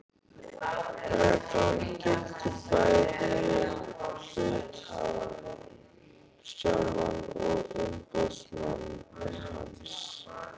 Reglan gildir bæði um hluthafann sjálfan og umboðsmann hans.